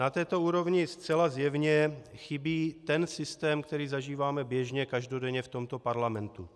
Na této úrovni zcela zjevně chybí ten systém, který zažíváme běžně, každodenně v tomto parlamentu.